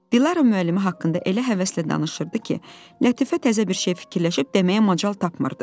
Dilara müəllimi haqqında elə həvəslə danışırdı ki, Lətifə təzə bir şey fikirləşib deməyə macal tapmırdı.